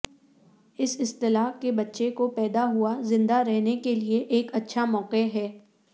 اس اصطلاح کے بچے کو پیدا ہوا زندہ رہنے کے لئے ایک اچھا موقع ہے